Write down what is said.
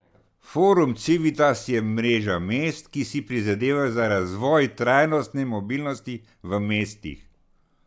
Forum Civitas je mreža mest, ki si prizadevajo za razvoj trajnostne mobilnosti v mestih.